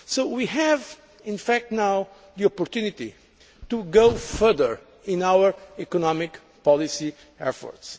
So, in fact, we now have the opportunity to go further in our economic policy efforts.